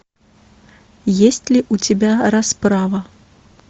есть ли у тебя расправа